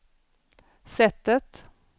sättet